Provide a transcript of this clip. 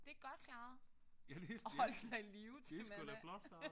Det godt klaret. At holde sig i live til man er